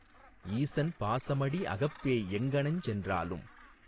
ஈசன் பாசமடி அகப்பேய் எங்ஙனஞ் சென்றாலும்